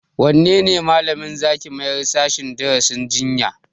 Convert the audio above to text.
Wanne malamin za ki mayar sashen darasin jinya?